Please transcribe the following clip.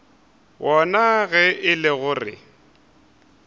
wona ge e le gore